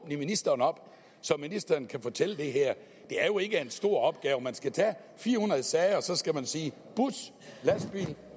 ministeren op så ministeren kan fortælle det her det er jo ikke en stor opgave man skal tage fire hundrede sager og så skal man sige bus lastbil